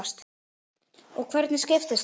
Og hvernig skiptist þetta?